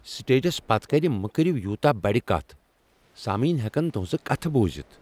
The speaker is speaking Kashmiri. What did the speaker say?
سٹیجس پتہٕ کنہ مہ کٔرو یوٗتاہ بڑ کتھ۔ سامعین ہیکن تہٕنزٕ کتھٕ بوزتھ۔